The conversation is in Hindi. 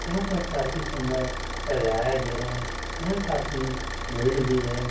यहाँ पर काफी सुन्दर सजाया ग्या है यहाँ काफी भीड़ भी है।